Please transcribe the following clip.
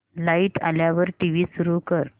light आल्यावर TV सुरू कर